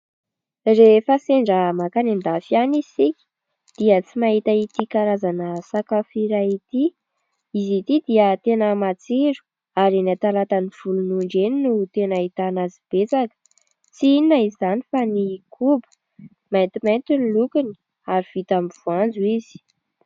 Rehefa sendra mankany an-dafy any isika dia tsy mahita ity karazana sakafo iray ity. Izy ity dia tena matsiro ary eny Talata volonondry eny no tena ahitana azy betsaka. Tsy inona izany fa ny koba. Maintimainty ny lokony ary vita amin'ny voanjo izy.